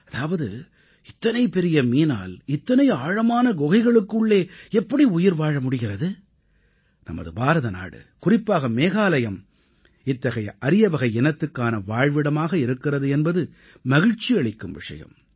அதாவது இத்தனை பெரிய மீனால் இத்தனை ஆழமான குகைகளுக்கு உள்ளே எப்படி உயிர் வாழ முடிகிறது நமது பாரதநாடு குறிப்பாக மேகாலயம் இத்தகைய அரியவகை இனத்துக்கான வாழ்விடமாக இருக்கிறது என்பது மகிழ்ச்சியளிக்கும் விஷயம்